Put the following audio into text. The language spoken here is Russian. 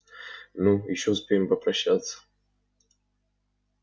ну ещё успеем попрощаться